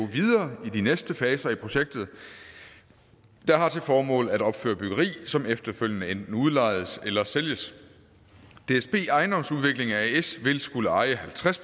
videre i de næste faser af projektet der har til formål at opføre byggeri som efterfølgende enten udlejes eller sælges dsb ejendomsudvikling as vil skulle eje halvtreds